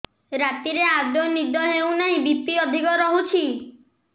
ରାତିରେ ଆଦୌ ନିଦ ହେଉ ନାହିଁ ବି.ପି ଅଧିକ ରହୁଛି